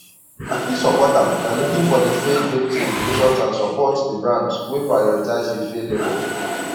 i fit support am by looking for di fair trade certifications and support di brands wey prioritize di fair labor